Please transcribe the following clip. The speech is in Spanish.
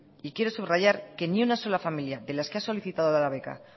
quiero subrayar que ninguna sola familia de las que ha solicitado la beca